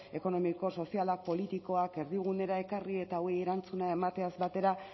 ekonomiko sozialak politikoak erdigunera ekarri eta hauei erantzuna emateaz batera